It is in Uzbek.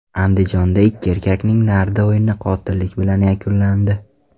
Andijonda ikki erkakning nardi o‘yini qotillik bilan yakunlandi.